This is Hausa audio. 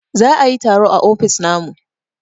za a yi taro a ofis namu